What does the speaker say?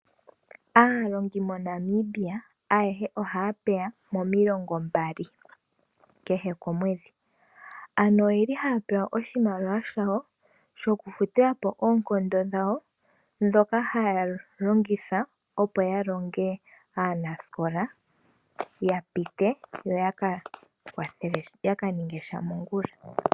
Aanashilonga ayehe ohaya mono ondjambi mesiku lyontumba. Ohaya vulu okulongitha iimaliwa mbika okulanda omaliko ga yooloka nenge oku kandula po uudhigu.